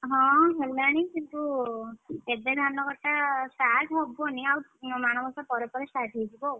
ହଁ ହେଲାଣି କିନ୍ତୁ ଏବେ ଧାନ କଟା start ହବନି ଆଉ ମାଣବସା ପରେ ପରେ start ହେଇଯିବ ଆଉ,